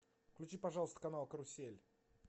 включи пожалуйста канал карусель